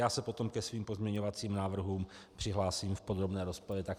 Já se potom ke svým pozměňovacím návrhům přihlásím v podrobné rozpravě.